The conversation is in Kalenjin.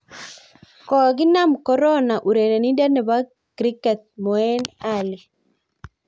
Kokinaam korona urerenindet nebo kriket Moeen Ali